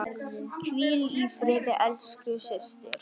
Hvíl í friði elsku systir.